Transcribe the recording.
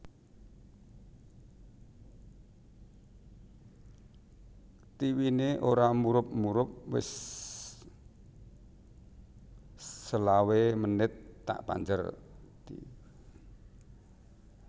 Tivine ora murup murup wis selawe menit tak panjer